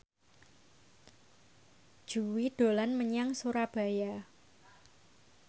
Jui dolan menyang Surabaya